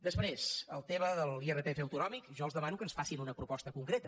després en el tema de l’irpf autonòmic jo els demano que ens facin una proposta concreta